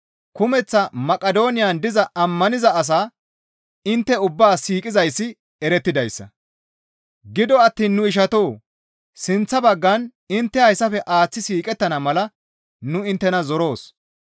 Kumeththa Maqidooniyan diza ammaniza asaa intte ubbaa siiqizayssi erettidayssa; gido attiin nu ishatoo! Sinththa baggan intte hayssafe aaththi siiqettana mala nu inttena zoroos.